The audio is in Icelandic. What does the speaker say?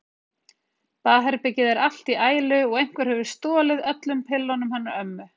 Baðherbergið er allt í ælu og einhver hefur stolið öllum pillunum hennar ömmu.